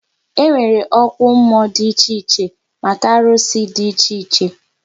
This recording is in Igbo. E nwere okwu mmụọ dị iche iche maka arụsị dị iche iche